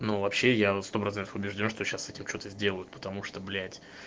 ну вообще я на сто процентов убеждён что сейчас с этим что-то сделают потому что блять